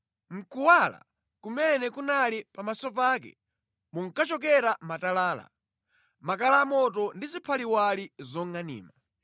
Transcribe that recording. Mʼkuwala kumene kunali pamaso pake munkachokera matalala, makala amoto ndi ziphaliwali zongʼanima.